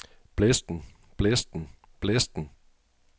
blæsten blæsten blæsten